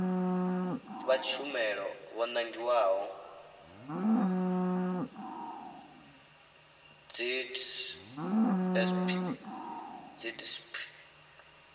vha tshumelo vho nangiwaho dzidsp